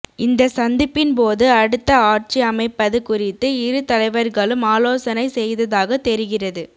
இந்த சந்திப்பின்போது அடுத்த ஆட்சி அமைப்பது குறித்து இருதலைவர்களும் ஆலோசனை செய்ததாக தெரிகிறது